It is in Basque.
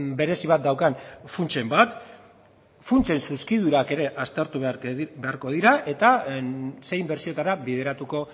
berezi bat daukan funtsen bat funtsen zuzkidurak ere aztertu beharko dira eta ze inbertsioetara bideratuko